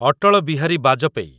Atal Bihari Vajpayee